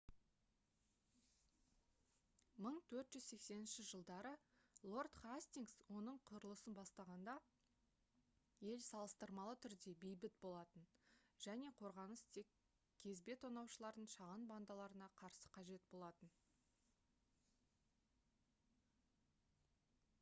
1480 жылдары лорд хастингс оның құрылысын бастағанда ел салыстырмалы түрде бейбіт болатын және қорғаныс тек кезбе тонаушылардың шағын бандаларына қарсы қажет болатын